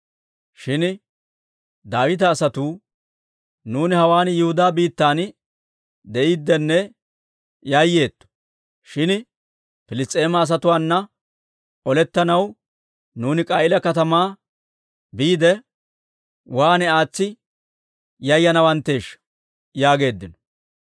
Shin Daawita asatuu, «Nuuni hawaan Yihudaa biittan de'iiddenne yayyeetto; shin Piliss's'eema asatuwaanna olettanaw nuuni K'a'iila katamaa biidde, waan aatsi yayyaneeshsha!» yaageeddino.